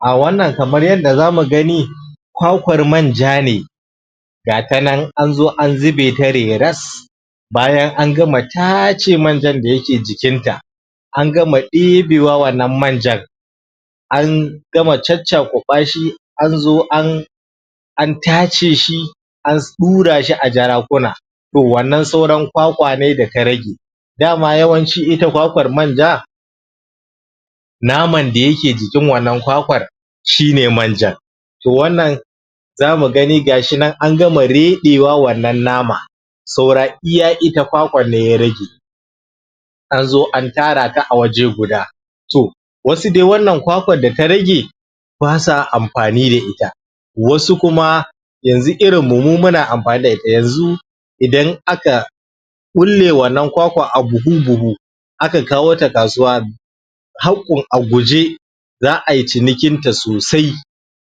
Ah wannan kamar yanda zamu gani kwakwar manja ne gata nan anzo an zube ta reras bayan an gama taace manjan da yake jikinta an gama ɗebewa wannan manjan an gama caccakuɓa shi anzo an an taace shi an ɗura shi a jarakuna toh wannan sauran kwakwa ne data rage dama yawanci ita kwakwar manja naman da yake jikin wannan kwakwar shi ne manjan toh wannan zamu gani gashi nan an gama reɗewa wannan nama saura iya ita kwakwar ne ya rage anzo an tara ta a waje guda toh wasu dai wannan kwakwar data rage basa amfani da ita wasu kuma yanzu irinmu mu muna amfani da ita yanzu idan aka ƙulle wannan kwakwar a buhu-buhu aka kawo ta kasuwa haƙƙun a guje za ai cinikin ta sosai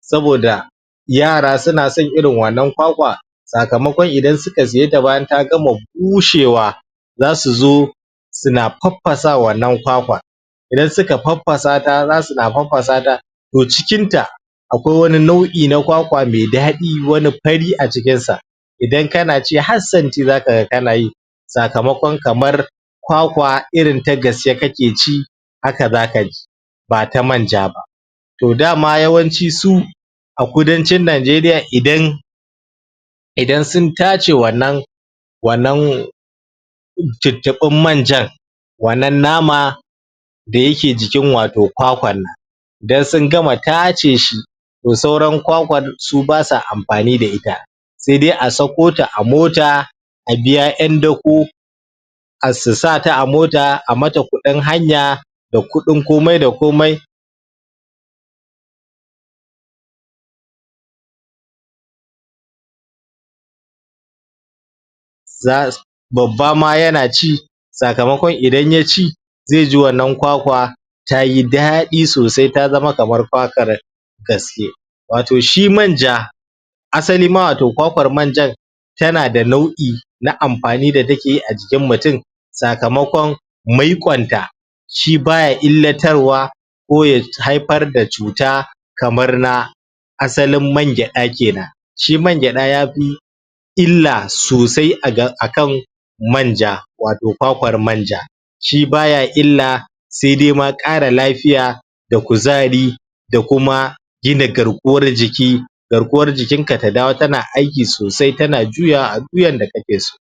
saboda yara suna son irin wannan kwakwa sakamakon idan suka siye ta bayan ta gama bushewa zasu zo suna faffasa wannan kwakwar idan suka faffasa ta zasu na faffasa ta toh cikinta akwai wani nau'i na kwakwa mai daɗi wani fari acikin sa idan kana ci har santi zaka ga kana yi sakamakon kamar kwakwa irin ta gaske kake ci haka zaka ji ba ta manja ba toh dama yawanci su a kudancin najeriya idan idan sun taace wannan wannan tuttufin manjan wannan nama da yake jikin wato kwakwan nan dan sun gama taace shi toh sauran kwakwar su basa amfani da ita sai dai a sako ta a mota a biya ƴan dako har su sata a mota a mata kuɗin hanya da kuɗin komai da komai za babba ma yana ci sakamakon idan yaci zai ji wannan kwakwa tayi daɗi sosai ta zama kamar kwakwar gaske waato shi manja asalima wato kwakwar manjan tana da nau'i na amfani da takeyi a jikin mutum sakamakon maiƙon ta shi baya illatarwa ko ya haifar da cuta kamar na asalin man gyaɗa kenan shi man gyaɗa yafi illa sosai akan manja wato kwakwar manja shi baya illa sai dai ma ƙara lafiya da kuzari da kuma gina garkuwar jiki garkuwar jikinka ta dawo tana aiki sosai tana juyawa a du yanda kake so